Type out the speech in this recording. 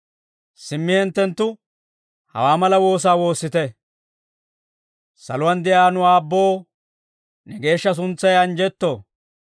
«Simmi hinttenttu hawaa mala woosaa woossite; « ‹Saluwaan de'iyaa nu Aabboo, ne geeshsha suntsay anjjetto.